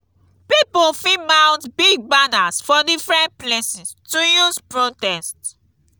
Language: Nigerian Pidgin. pipo fit mount big banners for different places to use protest